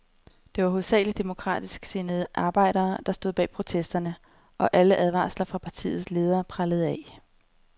Det var hovedsageligt demokratisk sindede arbejdere, der stod bag protesterne, og alle advarsler fra partiets ledere prellede af.